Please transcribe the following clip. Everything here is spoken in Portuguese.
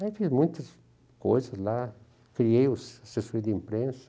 Aí fiz muitas coisas lá, criei o assessor de imprensa,